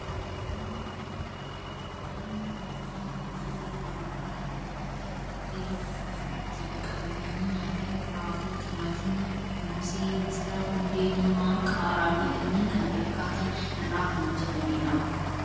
Nyaatni kun maalidhaa? Nyaatni kun nyaata gosoota garaa garaa kanneen akka buddeen kan ittiin qabatanii nyaatan, raafuu, timaatima, moosee, misira, hundee diimaa, qaaraa fi kanneen kana fakkaatan irraa kan hojjetamedha.